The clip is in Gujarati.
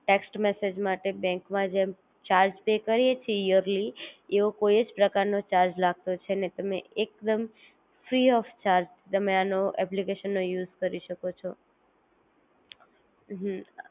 ટેક્સ્ટ મેસેજ માટે બેન્ક માં જેમ ચાર્જ પે કરી એ છે ઈયરલી એવો કોઈ જ પ્રકાર નો ચાર્જ લાગતો છે નહિ તમે એકદમ ફ્રી ઓફ ચાર્જ તમે આનો એપ્લિકેશન નો યુઝ કરી શકો છો